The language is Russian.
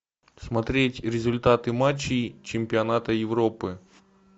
смотреть результаты матчей чемпионата европы